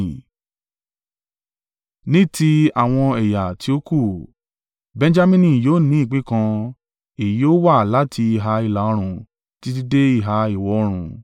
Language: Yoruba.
“Ní ti àwọn ẹ̀yà tí ó kù: “Benjamini yóò ní ìpín kan; èyí yóò wà láti ìhà ìlà-oòrùn títí dé ìhà ìwọ̀-oòrùn.